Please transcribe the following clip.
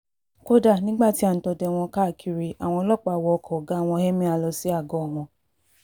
kódà nígbà tí à ń dọdẹ wọn káàkiri àwọn ọlọ́pàá wọ ọkọ̀ ọ̀gá wọn emir lọ sí àgọ́ wọn